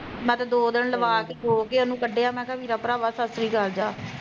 ਮੈਂ ਤਾਂ ਦੋ ਦਿਨ ਲਵਾਂ ਕੇ ਰੋਕੇ ਉਹਨੂੰ ਕੱਢਿਆ ਮੈਂ ਕਿਹਾਂ ਵੀਰਾਂ ਭਰਾਵਾਂ ਸਸਰੀ ਕਾਲ ਜਾ